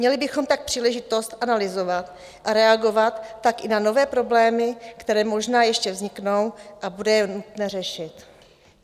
Měli bychom tak příležitost analyzovat a reagovat tak i na nové problémy, které možná ještě vzniknou a bude je nutné řešit.